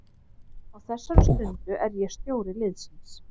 Á þessari stundu er ég stjóri liðsins.